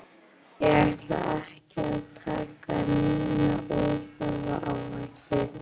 Ég ætla ekki að taka neina óþarfa áhættu,